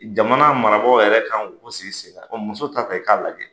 Jamana marabagaw yɛrɛ kan k'o ko sigi sen kan musow ta ta i k'a lajɛ.